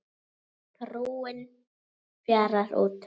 Trúin fjarar út